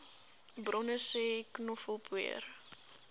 bronne sê knoffelpoeier